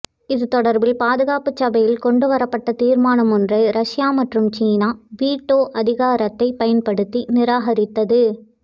இது தொடர்பில் பாதுகாப்புச் சபையில் கொண்டு வரப்பட்ட தீர்மானம் ஒன்றை ரஷ்யா மற்றும் சீனா வீட்டோ அதிகாரித்தை பயன்படுத்தி நிராகரித்தது